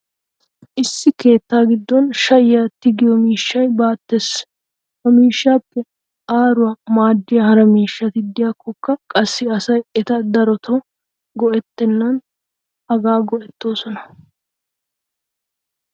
issi keettaa giddon shayyiya tiggiyo miishshay baatees. ha miishshaappe aaruwa maadiya hara miishshati diikkokka qassi asay eta darotoo ge'etenna hagaa go'ettoosona.